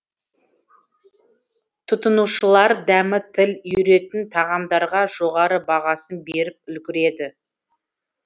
тұтынушылар дәмі тіл үйіретін тағамдарға жоғары бағасын беріп үлгерді